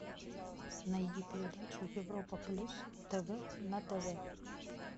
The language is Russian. найди передачу европа плюс тв на тв